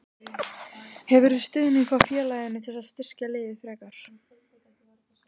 Hefurðu stuðning frá félaginu til að styrkja liðið frekar?